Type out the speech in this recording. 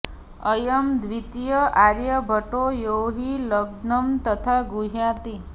अयं द्वितीय आर्यभटो यो हि लग्नं तथा गृह्णाति